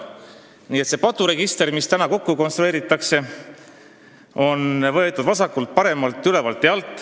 Nii et see paturegister, mis täna kokku on konstrueeritud, on võetud vasakult, paremalt, ülevalt ja alt.